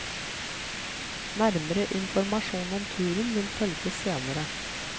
Nærmere informasjon om turen vil følge senere.